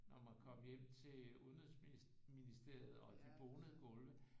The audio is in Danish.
Når man kom hjem til udenrigsministeriet og de bonede gulve